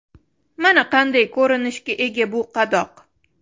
Mana qanday ko‘rinishga ega bu qadoq.